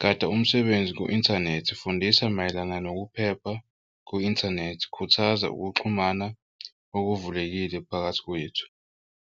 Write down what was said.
Gada umsebenzi ku-inthanethi fundisa mayelana nokuphepha ku-inthanethi, khuthaza ukuxhumana okuvulelekile phakathi kwethu.